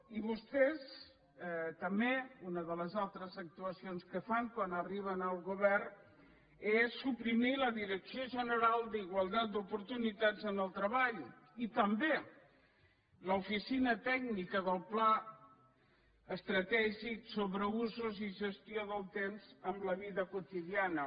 i vostès també una de les altres actuacions que fan quan arriben al govern és suprimir la direcció general d’igualtat d’oportunitats en el treball i també l’oficina tècnica del pla estratègic sobre usos i gestió del temps amb la vida quotidiana